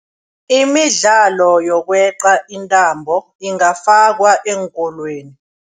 Imidlalo yokweqa intambo ingafakwa eenkolweni.